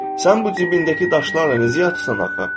Sən bu cibindəki daşlarla necə yatırsan axı?